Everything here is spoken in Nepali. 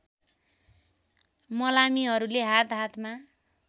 मलामीहरूले हात हातमा